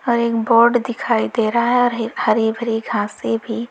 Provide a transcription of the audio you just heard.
और एक बोर्ड दिखाई दे रहा है और हीर हरी भरी घासें भी।